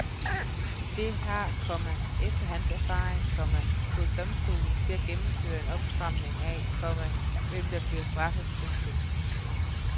Det har, komma efter hans erfaring, komma fået domstolene til også at gennemføre en opstramning af, komma hvem der bliver straffet. punktum